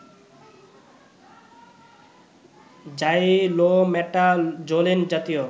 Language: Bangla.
জাইলোমেটাজোলিন জাতীয়